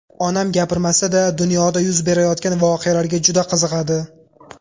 Onam gapirmasa-da dunyoda yuz berayotgan voqealarga juda qiziqadi.